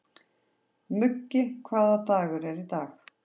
Muggi, hvaða dagur er í dag?